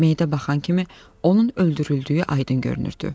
Meydə baxan kimi onun öldürüldüyü aydın görünürdü.